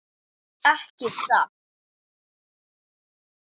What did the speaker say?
Ekki satt?